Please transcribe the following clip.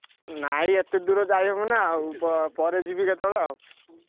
ନାଇଁ ଏତେ ଦୂର ଯାଇ ହବନା ଆଉ ପ ପରେ ଯିବି କେତବେଳେ ଆଉ,